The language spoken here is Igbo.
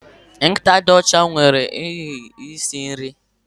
Nkịta dị ọcha nwụrụ n'ihi nsị nri